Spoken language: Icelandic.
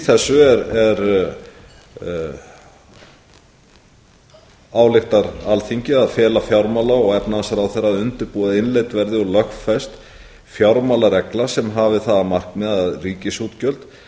þessu ályktar alþingi að fela fjármála og efnahagsráðherra að undirbúa að innleidd verði og lögfest fjármálaregla sem hafi að markmiði að ríkisútgjöld